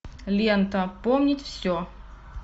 лента помнить все